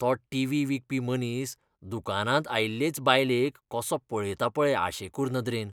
तो टिव्ही विकपी मनीस दुकानांत आयिल्लेच बायलेक कसो पळयता पळय आशेकूर नदरेन!